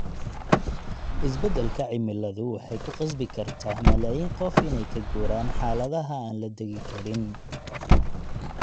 Isbeddelka cimiladu waxay ku qasbi kartaa malaayiin qof inay ka guuraan xaaladaha aan la degi karin.